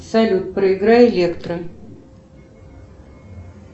салют проиграй электро